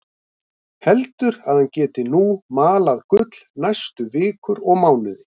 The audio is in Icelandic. Heldur að hann geti nú malað gull næstu vikur og mánuði.